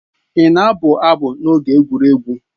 Ị na-abụ abụ n'oge egwuregwu?